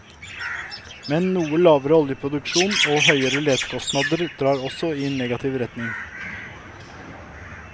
Men noe lavere oljeproduksjon og høyere letekostnader drar også i negativ retning.